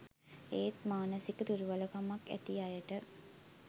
ඒත් මානසික දුර්වලකමක් ඇති අයට